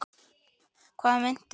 Hvað meinti hann?